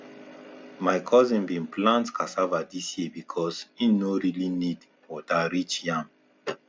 my cousin bin plant cassava this year because e no really need water reach yam